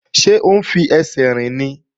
Ṣé ó ń fẹsẹ̀ rìn ni?